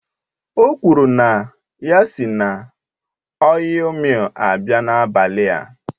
O kwuru na ya si na ọil millu abịa n'abalị a